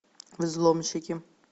взломщики